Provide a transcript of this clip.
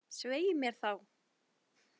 Svei mér þá.